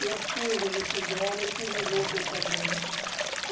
E eu fiz o vestido dela e fiz os outros também.